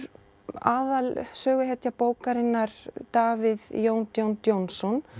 aðal söguhetja bókarinnar Davíð Jón John Johnson